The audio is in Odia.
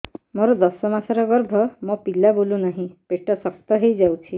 ମୋର ଦଶ ମାସର ଗର୍ଭ ମୋ ପିଲା ବୁଲୁ ନାହିଁ ପେଟ ଶକ୍ତ ହେଇଯାଉଛି